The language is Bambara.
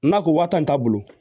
N'a ko waa tan t'a bolo